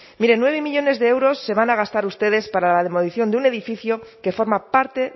mire nueve millónes de euros se van a gastar ustedes para la demolición de un edificio que forma parte